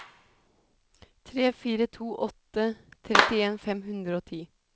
tre fire to åtte trettien fem hundre og ti